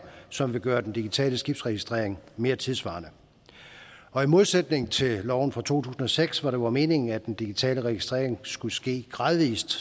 som vil gøre den digitale skibsregistrering mere tidssvarende og i modsætning til loven fra to tusind og seks hvor det var meningen at den digitale registrering skulle ske gradvis